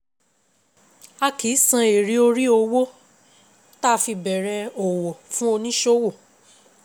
A kì í san èrè orí owó ta fi bẹ̀rẹ̀ òwò fún oníṣòwò.